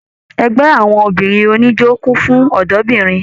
Ẹgbẹ àwọn obìnrin oníjó kún fún ọdọ obìnrin.